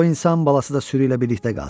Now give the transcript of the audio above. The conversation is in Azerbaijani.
Qoy insan balası da sürü ilə birlikdə qalsın.